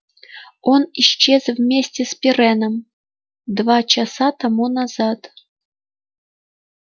он исчез вместе с пиренном два часа тому назад